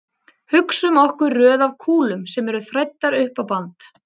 Hugsum okkur röð af kúlum sem eru þræddar upp á band.